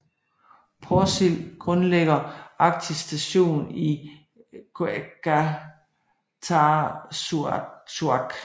Porsild grundlægger Arktisk Station i Qeqertarsuaq